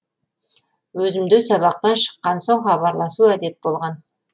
өзімде сабақтан шыккан соң хабарласу әдет болған